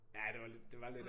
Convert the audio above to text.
Ja det var lidt det var lidt